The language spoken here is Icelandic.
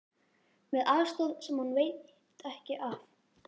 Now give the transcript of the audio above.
Með aðstoð sem hún veit ekki af.